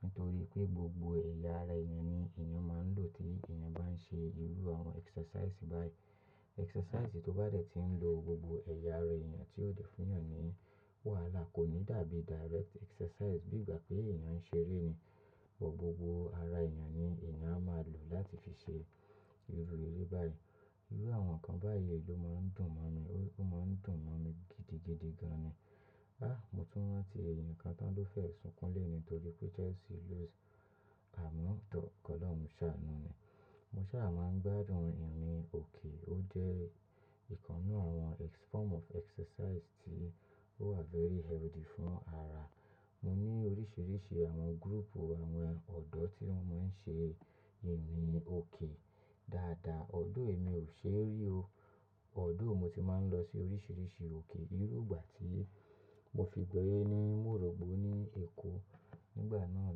nítorí pé gbogbo ẹ̀yà ara èèyàn ni èèyàn máa ń lò tí èèyàn bá ń ṣe irú àwọn exercise báyìí. Exercise tó bá dẹ̀ ti ń lo gbogbo ẹ̀yà ara èèyàn tí ó dẹ̀ fún èèyàn ní wàhálà kò ní dàbí direct exercise bí ìgbà pé èèyàn ń ṣeré ni. Ọ̀pọ̀ gbogbo ara èèyàn ni èèyàn á máa lò láti fi ṣe irú eré báyìí. Irú àwọn nǹkan báyìí ló máa ń dùn mọ́ mi. Ó máa ń dùn mọ́ mi gidigidi gan ni. Há, mo tún ranti ẹ̀yàn kan tán ló fẹ́ sukún loní torí pé Chelsea lose àmin kọ̀ Ọlọ́run ṣàánú ni. Mo ṣà màá ń gbádùn ìrìn òkè. Ó jẹ́ ìkanu àwọn form of exercise tí ó wà very healthy fún ara. Mo ní oríṣìíríṣìí àwọn group àwọn ọ̀dọ́ tí wọ́n máa ń ṣe ìrìn òkè dáadáa. Although èmi ò ṣe rí o. Although mo ti máa ń lọ sí oríṣìíríṣìí òkè. Irú ìgbà tí mo fi gbọ́ eré ní Mọ́rọ̀bọ ní Èkó nígbà náà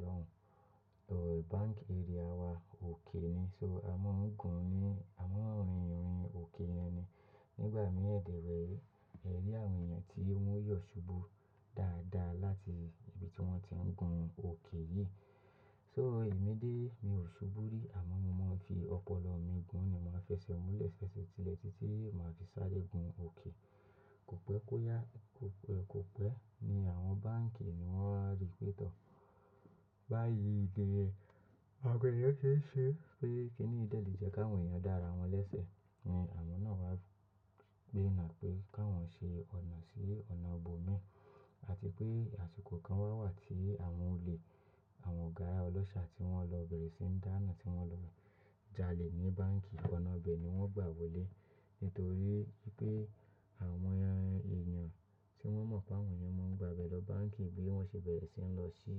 lọ́hùn, bank area wa òkè ni, so a máa ń gùn ní, a máa ń rin ìrìn òkè yẹn ni. Nígbà mí dẹ̀ rẹ, ẹ rí àwọn èèyàn tí wọ́n yọ̀ ṣubú dáadáa láti ibi tí wọ́n ti ń gun òkè yìí. So èmi dé, mi ò ṣubú rí àmọ́ mo máa ń fi ọpọlọ mi gùn ni. Mo máa fẹsẹ̀ mùlẹ̀ fẹsẹ̀ tilẹ̀ títí mo máa fi sáré gun òkè. Kò pẹ́ kó yá, kò pẹ́, kò pẹ́. Ni àwọn bánkì ni wọ́n á rí pẹ́ tọ̀. Báyìí ni, àwọn ọ̀pọ̀ èèyàn se n ṣe, pé kí ni yí dẹ lè jẹ́ kí àwọn èèyàn dá ara wọn lẹ́sẹ̀ ni àwọn náà wá gbe ina pé kí wọ́n ṣe ọ̀nà sí ọ̀nà bòmí àti pé àsìkò kan wá wà tí àwọn olè, àwọn ọ̀gá ọlọ́ṣà tí wọ́n lọ bẹ̀rẹ̀ sí ń dáná tí wọ́n lọ jalè ní bánkì. Ọ̀nà bẹ̀ ni wọ́n gbà wọlé nítorí pé àwọn èèyàn tí wọ́n mọ̀ pé àwọn èèyàn máa ń gba abẹ lọ bánkì bí wọ́n ṣe bẹ̀rẹ̀ sí lọ sí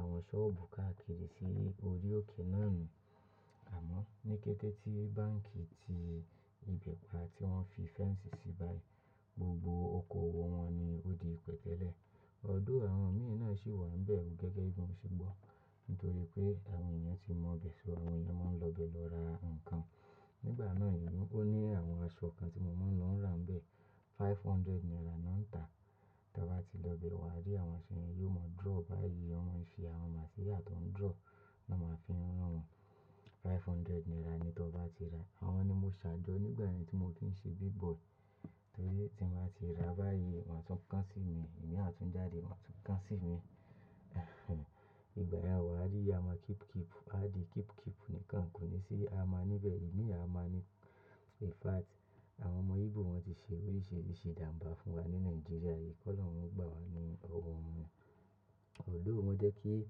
àwọn sọ́ọ̀bù káàkiri sí orí òkè náà ni. Àmọ́ ní kété tí bánkì ti ìbẹ́ pa tí wọ́n fi fence sí báyìí, gbogbo okoòwò wọn ni ó di ìpẹtẹ́lẹ̀. Although àwọn míì náà sì wà níbẹ̀ gẹ́gẹ́ bí wọ́n ṣe gbọ́. Nítorí pé àwọn èèyàn ti mọ̀ ibẹ̀, so àwọn èèyàn máa ń lọ bẹ̀ lọ ra nǹkan. Nígbà náà, ó ní àwọn aṣọ kan tí mo máa ń lọ rán bẹ́ẹ̀, five hundred naira náà ń tà. Tí a bá ti lọ bẹ̀ wá rí àwọn aṣo ye, yóò mọ draw báyìí. Wọ́n máa ń ṣe àwọn material tó ń draw náà máa fi rán wọn. Five hundred naira ni tí o bá ti ra. Àwọn ni mo ṣàjọ nígbà rẹ́ tí mo tó ń ṣe big boy nítorí tí mo bá ti ra báyìí, wọ́n á tún kán sí mi. Imi a tún jáde, wá tún kán sí mi. Ìgbà yẹn wá rí a máa keep keep. A di keep keep nìkan kò ní sí a máa níbẹ̀. Èmi a máa ní-- in fact àwọn ọmọ Igbo wọ́n ti ṣe oríṣìíríṣìí jàǹbà fún wa ní Nàìjíríà yìí. Ki Ọlọ́run gba wa ní owó wọn. Although o jẹ́ kí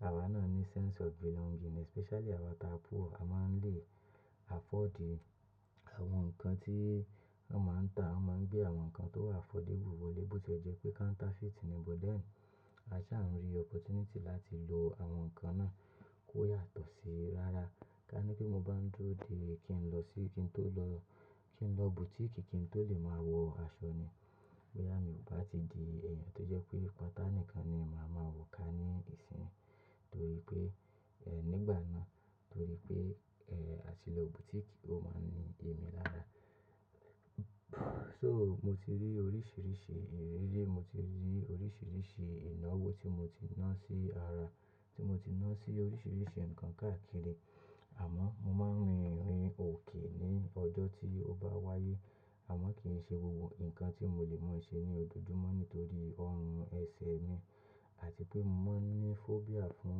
àwa náà ní sense of belonging especially àwa táa poor. A máa ń lé afford àwọn nǹkan tí wọ́n máa ń tà. Wọ́n máa ń gbé àwọn nǹkan tó wà affordable wọlé bo tie jẹ́ pé counterfeit ni but then a ṣa ń rí opportunity láti lo àwọn nǹkan náà kó yàtọ̀ sí rárá. Ká ní pé mo bá ń dúró dé kí n lọ sí, kí n tó lọ, kí n lọ boutique kí n tó lè máa wọ aṣọ ni. Boyà mí kò bá ti di èèyàn tó jẹ́ pé patá nìkan ni bàá máa wò ká ní ìsìn nítorí pé, eh, nígbà náà nítorí pé, eh, a ti lọ boutique ó máa ń ní emí lára. So mo ti rí oríṣìíríṣìí ìrírí, mo ti rí oríṣìíríṣìí ináwó tí mo ti ná sí ara, tí mo ti ná sí oríṣìíríṣìí nǹkan káàkiri àmọ́ mo máa ń rin ìrìn òkè ní ọjọ́ tí ó bá wáyé àmọ́ kì í ṣe gbogbo nǹkan tí mo lè máa ṣe ní ojojúmọ́ nítorí ọrùn ẹsẹ̀ mi àti pé mo ní phobia fún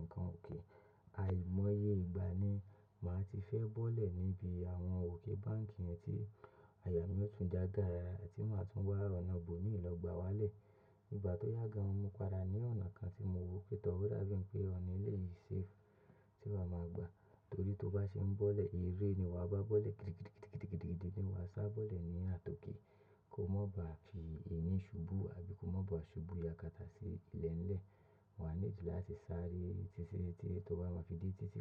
nǹkan òkè. Àìmọye ìgbà ni màá ti fẹ́ bọ́lẹ̀ níbi àwọn òkè bánkì yẹn tí àyà mí ó tún já garara tí màá tún wá ọ̀nà ọbòmíì lọ gbà wálẹ̀. Nígbà tó yágàn, mo padà ra ní ọ̀nà kan tí mo wo pé tọ́, o dábii pé ọ̀nà éleyìí safe tí màá máa gbà nítorí tí o bá ṣe ń bọ́lẹ̀, eré ni wà á bá bọ́lẹ̀. Kirikiri kirikiri kirikiri ni wà á sá bọ́lẹ̀ ní àtòkè. Kò mọ́ bá fi ení ṣubú àbí kò mọ́ bá ṣubú yakata sí ilẹ̀ ńlẹ̀. Wà á need láti sáré títí tí, tí o bá ma fi dé títí wá.